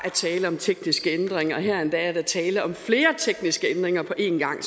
er tale om tekniske ændringer og her er der endda tale om flere tekniske ændringer på en gang